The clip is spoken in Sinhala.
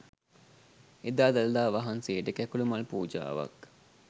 එදා දළදා වහන්සේට කැකුළු මල් පූජාවක්